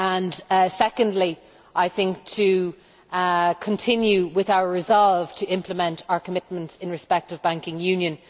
The second is to continue with our resolve to implement our commitments in respect of banking union.